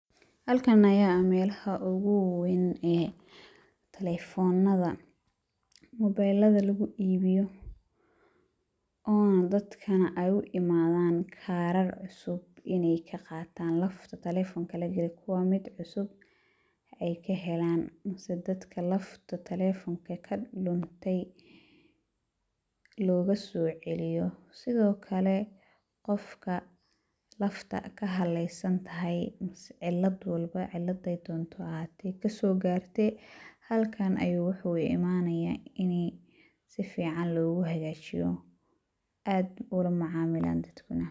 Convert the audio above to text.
Halkan ayaa ah meelaha ugu waweyn ee telefoonada, mobeelada lugu iibiyo oona dadkana ay u imaadaan kaarar cusub inay ka qaataan lafta telefoonka la galiyo, kuwaa mid cusub ay ka helaan, mise dadka lafta telefoonka ka luntay loogu soo ciliyo. Sidhookale, qofka lafta ka halaysantahay mise cilad walba cilada ay doonto ha ahaate ka soo gaartay, halkan ayuu waxuu u imaanayaa in ay si ficaan loogu hegaajiyo aad u la macaamilaan dadkuna.